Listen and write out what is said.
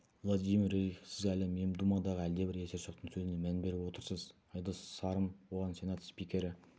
владимир рерих сіз әлгі мемдумадағы әлдебір есерсоқтың сөзіне мән беріп отырсыз айдос сарым оған сенат спикері